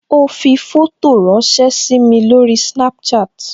Ó fi fótò ránsẹ́ sími lórí Snapchat